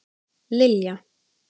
Lilja